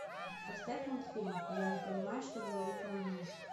поставь мультфильм я не понимаю что говорит мой муж